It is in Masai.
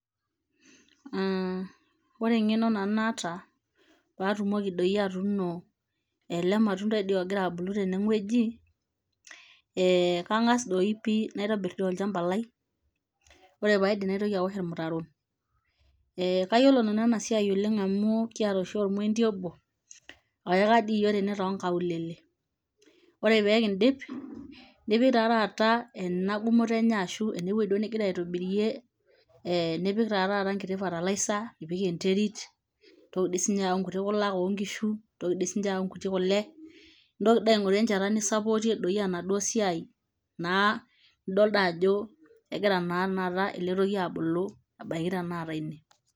Ore engeno nanu naata pee atumoki doi atuuni ele matundai doi ogira abulu tene gweji ,eeh kangas doi pii naitobir doi olchapa lai ore pee aidip naitoki aosh ormutaro ,kayiolo nanu ena siai amu kiata oshi ormoindi obo oyaka dii yiok tene too nkaulele ore pee kindip nipik taa taata ena gumoto enye ashu ene weji duo ningira aitobirie nipik taa taata enkiti fertilizer nipik enterit ,nitoki dii sininye ayau nkutik kulak oo nkushu nitoki sii ninche ayau nkuti kule nitoki doi aingotu enchata nisapotie doi ena siai naa nidol doi ajo engira naa tenakata ele toki abulu abaiki tenakata ine.